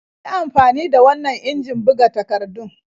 Yi amfani da wannan injin buga takardun.